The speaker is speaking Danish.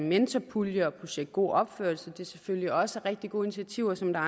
mentorpuljer og projekt god opførsel selvfølgelig også er rigtig gode initiativer som der